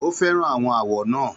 Ó fẹ́ràn àwọn àwọ̀ náà.